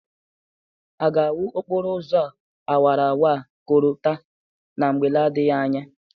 A ga-awụ okporo ụzọ awarawara a kolta na mgbe n'adịghị anya?